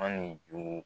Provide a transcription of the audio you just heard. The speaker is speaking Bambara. An ni juru